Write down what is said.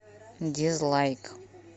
дизлайк